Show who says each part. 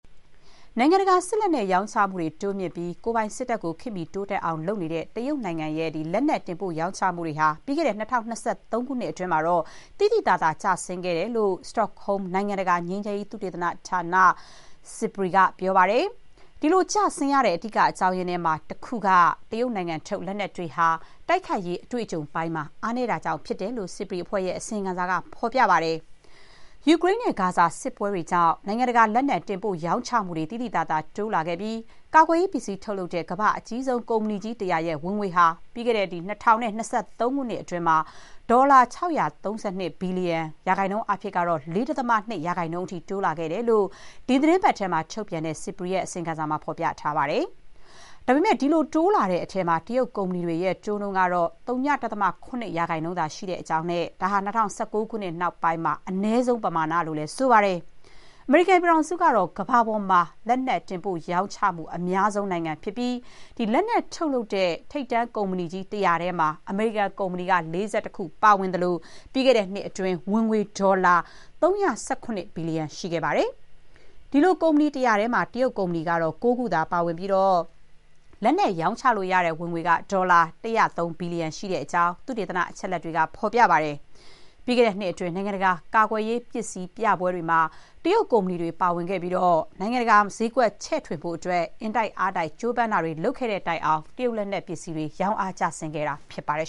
Speaker 1: နိုင်ငံတကာ စစ်လက်နက် ရောင်းချမှုတွေ တိုးမြှင့်ပြီး ကိုယ်ပိုင်စစ်တပ်ကို ခေတ်မီ တိုးတက်အောင် လုပ်နေတဲ့ တရုတ်နိုင်ငံရဲ့ လက်နက် တင်ပို့ရောင်းချမှုတွေဟာ ပြီးခဲ့တဲ့ ၂၀၂၃ ခုနှစ်အတွင်းမှာတော့ သိသိသာသာ ကျဆင်းခဲ့တယ်လို့ Stockholm နိုင်ငံတကာ ငြိမ်းချမ်းရေး သုတေသန ဌာန SIPRI က ပြောပါတယ်။ ဒီလို ကျဆင်းရတဲ့ အဓိက အကြောင်းရင်းထဲမှာ တခုက တရုတ်နိုင်ငံထုတ် လက်နက်တွေဟာ တိုက်ခိုက်ရေး အတွေ့အကြုံပိုင်းမှာ အားနည်းတာကြောင့် ဖြစ်တယ်လို့ SIPRI အဖွဲ့ရဲ့ အစီရင်ခံစာက ဖော်ပြပါတယ်။ ယူကရိန်းနဲ့ ဂါဇာ စစ်ပွဲတွေကြောင့် နိုင်ငံတကာ လက်နက် တင်ပို့ရောင်းချမှုတွေ သိသိသာသာ တိုးလာခဲ့ပြီး ကာကွယ်ရေးပစ္စည်း ထုတ်လုပ်တဲ့ ကမ္ဘာ့အကြီးဆုံး ကုမ္ပဏီကြီး ၁၀၀ ရဲ့ ဝင်ငွေဟာ ပြီးခဲ့တဲ့ ၂၀၂၂ ခုနှစ်အတွင်း ဒေါ်လာ ၆၃၂ ဘီလျံ၊ ရာခိုင်နှုန်းအားဖြင့် ၄.၂ % တိုးလာခဲ့တယ်လို့ ဒီသီတင်းပတ်ထဲ ထုတ်ပြန်တဲ့ SIPRI ရဲ့ အစီရင်ခံစာမှာ ဖော်ပြထားပါတယ်။ ဒါပေမဲ့ ဒီလို တိုးလာတဲ့ အထဲမှာ တရုတ် ကုမ္ပဏီတွေရဲ့ တိုးနှုန်းကတော့ ၀.၇ % သာရှိတဲ့အကြောင်းနဲ့ ဒါဟာ ၂၀၁၉ ခုနှစ်နောက်ပိုင်း အနည်းဆုံး ပမာဏလို့ ဆိုပါတယ်။ အမေရိကန်ပြည်ထောင်စုကတော့ ကမ္ဘာပေါ်မှာ လက်နက် တင်ပို့ရောင်းချမှု အများဆုံး နိုင်ငံဖြစ်ပြီး လက်နက် ထုတ်လုပ်တဲ့ ထိပ်တန်း ကုမ္ပဏီကြီး ၁၀၀ ထဲမှာ အမေရိကန်ကုမ္ပဏီ ၄၁ ခု ပါဝင်သလို၊ ပြီးခဲ့တဲ့နှစ်အတွင်း ဝင်ငွေ ဒေါ်လာ ၃၁၇ ဘီလျံ ရှိခဲ့ပါတယ်။ ဒီလို ကုမ္ပဏီ ၁၀၀ ထဲမှာ တရုတ် ကုမ္ပဏီကတော့ ၉ ခုသာ ပါဝင်ပြီး လက်နက် ရောင်းချလို့ရတဲ့ ဝင်ငွေက ဒေါ်လာ ၁၀၃ ဘီလျံ ရှိတဲ့အကြောင်း သုတေသန အချက်အလက်တွေက ဖော်ပြပါတယ်။ ပြီးခဲ့တဲ့နှစ်အတွင်း နိုင်ငံတကာ ကာကွယ်ရေးပစ္စည်း ပြပွဲတွေမှာ တရုတ် ကုမ္ပဏီတွေ ပါဝင်ခဲ့ပြီး နိုင်ငံတကာမှာ စျေးကွက် ချဲ့ထွင်ဖို့ အင်တိုက်အားတိုက် ကြိုးပမ်းတာတွေ လုပ်ခဲ့တဲ့တိုင်အောင် တရုတ်လက်နက်ပစ္စည်းတွေ ရောင်းအား ကျဆင်းခဲ့တာ ဖြစ်ပါတယ်